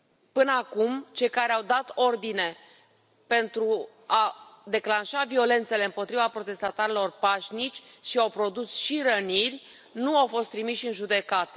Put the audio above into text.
Până acum, cei care au dat ordine pentru a declanșa violențele împotriva protestatarilor pașnici și au produs și răniri nu au fost trimiși în judecată.